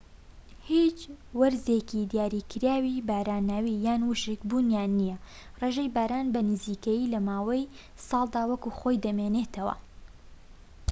هیچ وەرزێکی دیاریکراوی باراناوی یان ووشک بوونیان نییە: ڕێژەی باران بە نزیکەیی لە ماوەی ساڵدا وەک خۆی دەمێنێتەوە‎